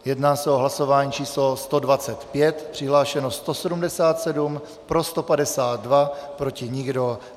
Jedná se o hlasování číslo 125, přihlášeno 177, pro 152, proti nikdo.